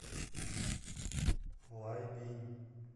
лайбинь